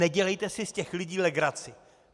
Nedělejte si z těch lidí legraci.